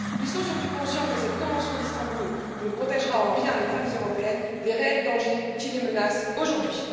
Ils sont surtout conscients que cette convention d'Istanbul ne protégera en rien les femmes européennes des réels dangers qui les menacent aujourd'hui.